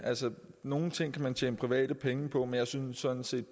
nogle ting kan man tjene private penge på men jeg synes sådan set